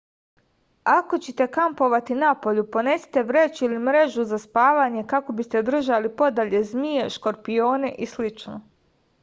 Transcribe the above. ako ćete kampovati napolju ponesite vreću ili mrežu za spavanje kako biste držali podalje zmije škorpione i slično